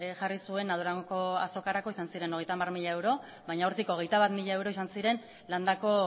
jarri zuena durangoko azokarako izan ziren hogeita hamar mila euro baina hortik hogeita bat mila euro izan ziren landako